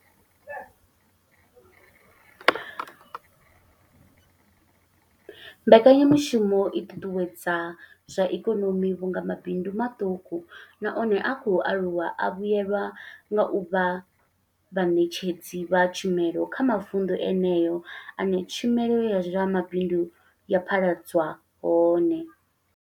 Mbekanya mushumo i ṱuṱuwedza zwa ikonomi vhunga mabindu maṱuku na one a khou aluwa a vhuelwa nga u vha vhaṋetshedzi vha tshumelo kha mavundu eneyo ane tshumelo ya zwa mabindu ya phaḓaladzwa hone.